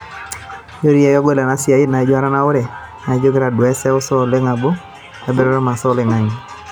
Kitodua seuseu elotu tenebo peyie itasheyia enkikesha oo baa eimu enkibooroto o masaa oloingange.